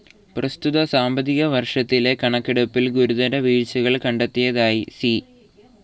പ്രസ്തുത സാമ്പത്തിക വർഷത്തിലെ കണക്കെടുപ്പിൽ ഗുരുതര വീഴ്ച്ചകൾ കണ്ടെത്തിയതായി സി.